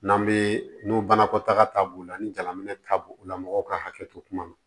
N'an bɛ n'u banakɔtaga b'u la ni jalaminɛ ta b'u la mɔgɔw ka hakɛ to kuma na